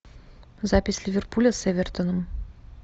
запись ливерпуля с эвертоном